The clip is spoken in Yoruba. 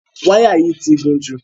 Wáyà yìí ti gùn jù.